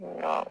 Nka